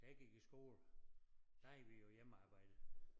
Da jeg gik i skole der havde vi jo hjemmearbejde